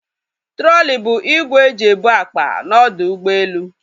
Trọli bụ igwe e ji ebu akpa na ọdọ ụgbọelu